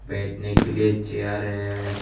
बैठने के लिए चेयर है।